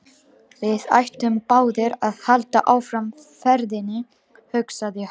Við ættum báðir að halda áfram ferðinni, hugsaði hann.